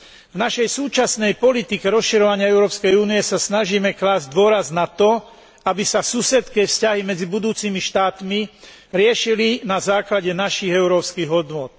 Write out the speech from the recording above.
V našej súčasnej politike rozširovania Európskej únie sa snažíme klásť dôraz na to, aby sa susedské vzťahy medzi budúcimi štátmi riešili na základe našich európskych hodnôt.